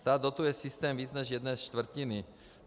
Stát dotuje systém víc než z jedné čtvrtiny.